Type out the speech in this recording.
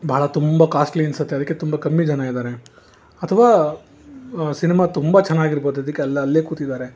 ಬಹಳ ತುಂಬಾ ಕಾಸ್ಟ್ಲಿ ಅನ್ಸುತ್ತೆ ಅದಕ್ಕೆ ತುಂಬಾ ಕಮ್ಮಿ ಜನ ಇದ್ದಾರೆ ಅಥವಾ ಸಿನಿಮಾ ತುಂಬಾ ಚೆನ್ನಾಗಿರಬಹುದು ಅದಕ್ಕೆ ಎಲ್ಲ ಅಲ್ಲೇ ಕೂತಿದ್ದಾರೆ.